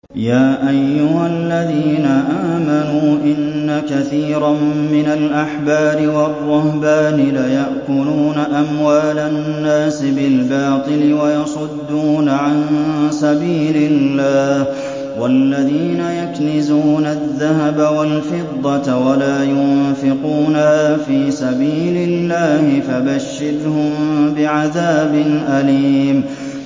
۞ يَا أَيُّهَا الَّذِينَ آمَنُوا إِنَّ كَثِيرًا مِّنَ الْأَحْبَارِ وَالرُّهْبَانِ لَيَأْكُلُونَ أَمْوَالَ النَّاسِ بِالْبَاطِلِ وَيَصُدُّونَ عَن سَبِيلِ اللَّهِ ۗ وَالَّذِينَ يَكْنِزُونَ الذَّهَبَ وَالْفِضَّةَ وَلَا يُنفِقُونَهَا فِي سَبِيلِ اللَّهِ فَبَشِّرْهُم بِعَذَابٍ أَلِيمٍ